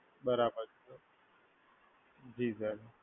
બરાબર, જી સર.